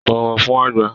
Bọ̀wọ̀ fún àgbà!